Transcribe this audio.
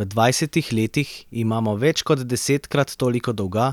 V dvajsetih letih imamo več kot desetkrat toliko dolga,